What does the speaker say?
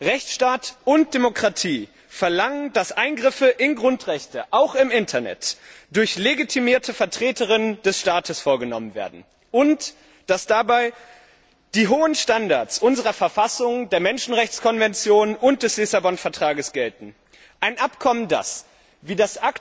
Rechtstaat und Demokratie verlangen, dass Eingriffe in Grundrechte auch im Internet durch legitimierte Vertreter des Staates vorgenommen werden, und dass dabei die hohen Standards unserer Verfassung, der Menschenrechtskonvention und des Vertrags von Lissabon gelten. Ein Abkommen, das wie